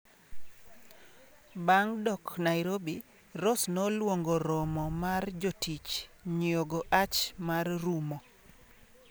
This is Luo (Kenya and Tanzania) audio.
Bang; dok nairobi Ross nolongo romo mar jotich nyiogo ach mar rumo.